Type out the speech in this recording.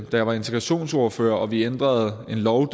jeg var integrationsordfører og vi derovre ændrede en lov